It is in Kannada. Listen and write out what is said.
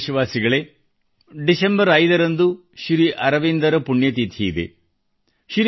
ನನ್ನ ಪ್ರೀತಿಯ ದೇಶವಾಸಿಗಳೇ ೫ ನೇ ಡಿಸೆಂಬರ್ರಂದು ಶ್ರೀ ಅರವಿಂದರ ಪುಣ್ಯತಿಥಿಯಿದೆ